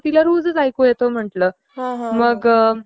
तिला रोजच ऐकू येतो म्हणलं .. मग ...